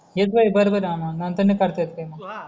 हेच वय करत येणार नंतर नाही करता येत काही हा